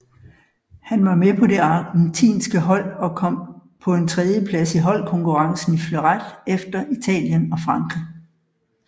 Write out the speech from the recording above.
Han var med på det argentinske hold som kom på en tredjeplads i holdkonkurrencen i fleuret efter Italien og Frankrig